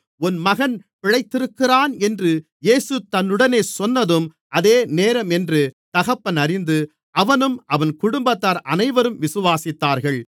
உன் மகன் பிழைத்திருக்கிறான் என்று இயேசு தன்னுடனே சொன்னதும் அதே நேரம் என்று தகப்பன் அறிந்து அவனும் அவன் குடும்பத்தார் அனைவரும் விசுவாசித்தார்கள்